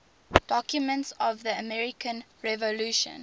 documents of the american revolution